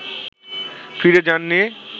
ফিরে যাননি